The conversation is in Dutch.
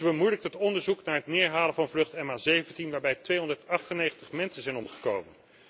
Zij bemoeilijkt het onderzoek naar het neerhalen van vlucht MH17 waarbij 298 mensen zijn omgekomen.